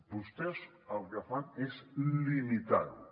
vostès el que fan és limitar ho